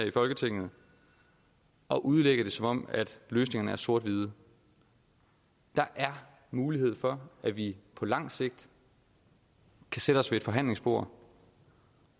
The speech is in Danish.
i folketinget at udlægge det som om løsningerne er sort hvide der er mulighed for at vi på lang sigt kan sætte os ved et forhandlingsbord